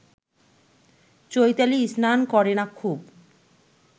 চৈতালি স্নান করে না খুব